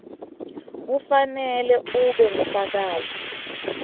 kufanele ube ngufakazi